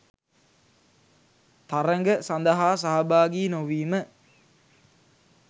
තරග සඳහා සහභාගී නොවීම